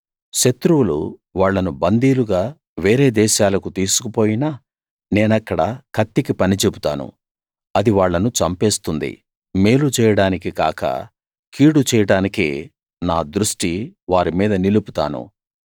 శత్రువులు వాళ్ళను బందీలుగా వేరే దేశాలకు తీసుకుపోయినా నేనక్కడ కత్తికి పని చెబుతాను అది వాళ్ళను చంపేస్తుంది మేలు చేయడానికి కాక కీడు చేయడానికే నా దృష్టి వారి మీద నిలుపుతాను